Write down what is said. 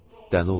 Dəli oldum.